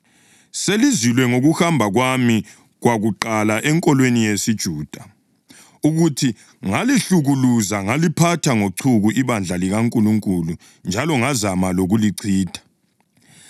Selizwile ngokuhamba kwami kwakuqala enkolweni yesiJuda, ukuthi ngalihlukuluza ngaliphatha ngochuku ibandla likaNkulunkulu njalo ngazama lokulichitha.